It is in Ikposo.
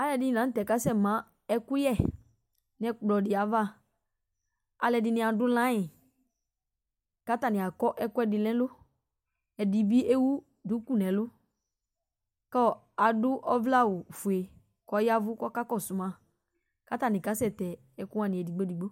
Alʊɛdɩnɩ lanʊtɛ kasɛ ma ɛkʊƴɛ nɛkplɔ dɩ aƴava Alʊɛdɩnɩ adʊ layɩ katanɩ akɔ ɛkʊɛdɩ nɛlʊ, ɛdɩbɩ ewʊ dʊkʊ nɛlʊ kʊ aɗʊ ɔvlɛ awʊ fʊe kɔka kɔsʊ ma katanɩ kasɛ tɛ ɛkʊ wanɩ edɩgbo edɩgbo